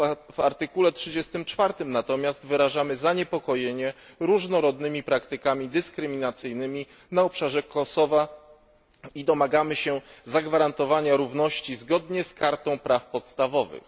W artykule 34 natomiast wyrażamy zaniepokojenie różnorodnymi praktykami dyskryminacyjnymi na obszarze Kosowa i domagamy się zagwarantowania równości zgodnie z Kartą praw podstawowych.